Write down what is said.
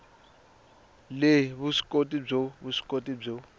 le vuswikoti byo vuswikoti byo